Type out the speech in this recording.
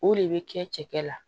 O de bɛ kɛ cɛkɛ la